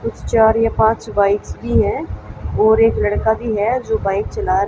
कुछ चार या पाँच बाइक्स भीं हैं और एक लड़का भीं हैं जो बाइक चला रा--